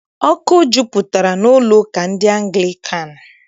Ọkụ jupụtara n'ụlọụka ndị Anglịkan.